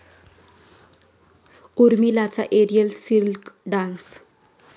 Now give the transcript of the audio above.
उर्मिलाचा aerial silk dance